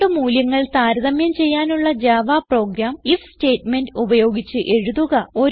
രണ്ട് മൂല്യങ്ങൾ താരതമ്യം ചെയ്യാനുള്ള ജാവ പ്രോഗ്രാം ഐഎഫ് സ്റ്റേറ്റ്മെന്റ് ഉപയോഗിച്ച് എഴുതുക